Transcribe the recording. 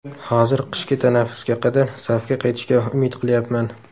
Hozir qishki tanaffusga qadar safga qaytishga umid qilyapman.